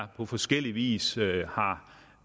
på forskellig vis har